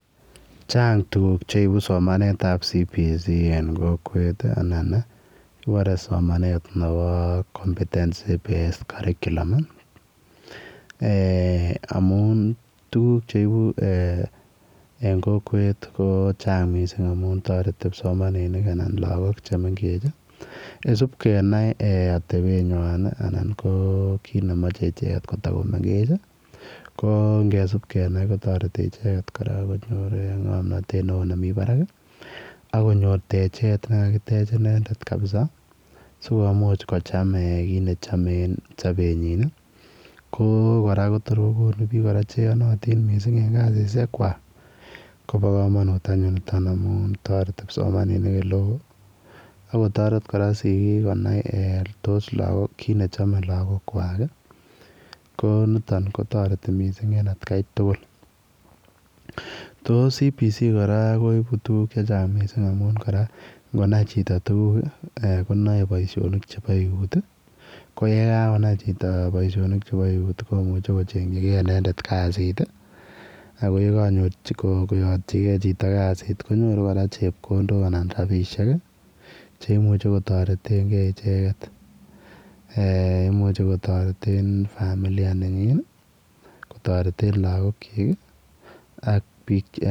chaang tuguuk cheibuu somanet ab [compentency based curriculuum ] en kokwet amuun kibore somanet ab competency based curriculum ii eeh amuun tuguuk cheibuu en kokweet anan ko kipsomaninik amuun taretii lagook supkenai atebet nywaany and tuguug chemachei ichegeet kotako mengeech ko ngesupkenai kotaretii konyoor ngomnatet nemii barak ak konyoor techeet ne kakiteech inendet kabisa sikomuuch kochaam kiit ne chame en sabenyiin kotoor kora ko kit ne mie en kasisiek kwaak koba kamanuut amuun taretii kipsomaninik amuun taretii sigiik konai kole kit ne chamee lagook kotareti siggik konai kiit ne chame lagook kwaak cbc kora koibuu tuguuk che chaang amuun ingonai chitoo tuguuk eeh konae tuguuk chebo eut ii ko ye kagonai chitoo boisionikab eut komuchei kochenyigei kasiit ab eut ako ye kako yatyi gei chitoo kasiit konyoruu chepkondook anan rapisheek cheimuchei kotareten kei icheeget imuchei kotareteen familia nenyiin ak biik alaak.